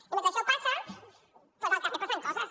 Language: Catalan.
i mentre això passa doncs al carrer passen coses